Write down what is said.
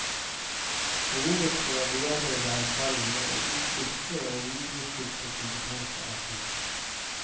Behovet for å bearbeide erfaringer og utvikle og videreutvikle kompetanse er stort.